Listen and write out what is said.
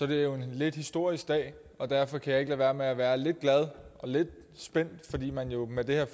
det jo en lidt historisk dag og derfor kan jeg ikke lade være med at være lidt glad og lidt spændt altså fordi man jo med det her